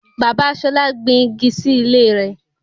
Bàbá Ṣolá gbin igi sí ilé rẹ̀